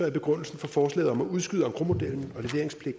er begrundelsen for forslaget om at udskyde engrosmodellen